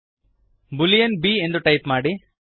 Boolean b Boolean B ಎಂದು type ಮಾಡಿ